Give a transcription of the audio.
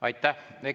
Aitäh!